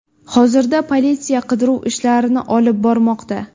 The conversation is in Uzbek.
Hozirda politsiya qidiruv ishlarini olib bormoqda.